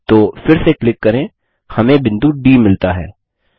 तो फिर से क्लिक करें हमें बिंदु डी मिलता है